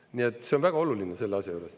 Nii et see on väga oluline selle asja juures.